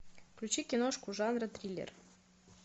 включи киношку жанра триллер